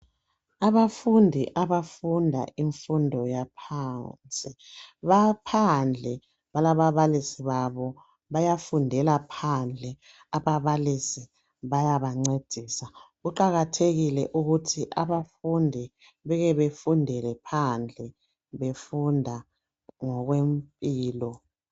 Abafundi abafunda imfundo yaphansi baphandle balababalisi babo bayafundela phandle ababalisi bayabancedisa kuqakathekile ukuthi abafundi bekebefundele phandle befunda ngokwempilo